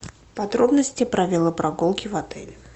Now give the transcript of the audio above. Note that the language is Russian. подробности правила прогулки в отеле